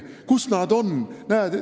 Kus nad on?